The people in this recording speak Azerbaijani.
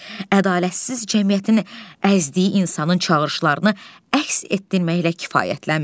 Ədalətsiz cəmiyyətin əzdiyi insanın çağırışlarını əks etdirməklə kifayətlənmir.